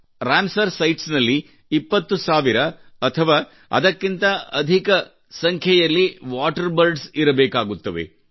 Ramsar sites ನಲ್ಲಿ 20000 ಅಥವಾ ಅದಕ್ಕಿಂತ ಅಧಿಕ ವಾಟರ್ ಬರ್ಡ್ಸ್ ಇರಬೇಕಾಗುತ್ತವೆ